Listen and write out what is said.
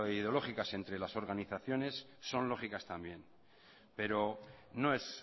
ideológicos entre las organizaciones son lógicas también pero no es